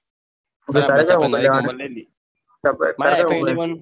ઉમેશ તારે કયો mobile લેવાનો